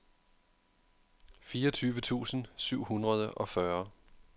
fireogtyve tusind syv hundrede og fyrre